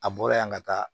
A bɔra yan ka taa